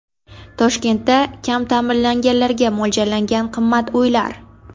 Toshkentda kam ta’minlanganlarga mo‘ljallangan qimmat uylar.